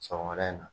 Sɔgɔmada in na